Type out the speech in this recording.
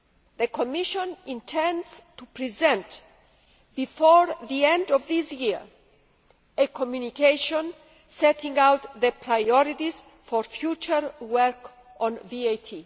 The Commission intends to present, before the end of this year, a Communication setting out the priorities for future work on VAT.